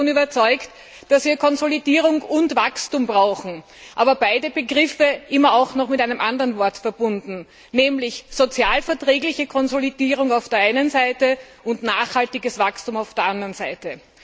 Ich bin davon überzeugt, dass wir Konsolidierung und Wachstum brauchen, aber beide Begriffe sind immer auch mit einem anderen Aspekt verbunden, nämlich sozialverträgliche Konsolidierung auf der einen Seite und nachhaltiges Wachstum auf der anderen Seite.